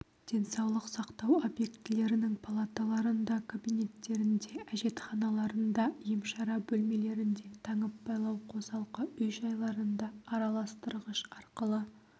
денсаулық сақтау объектілерінің палаталарында кабинеттерінде әжетханаларында емшара бөлмелерінде таңып-байлау қосалқы үй-жайларында араластырғыш арқылы